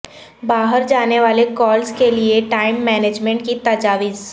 باہر جانے والے کالز کے لئے ٹائم مینجمنٹ کی تجاویز